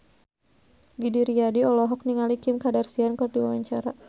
Didi Riyadi olohok ningali Kim Kardashian keur diwawancara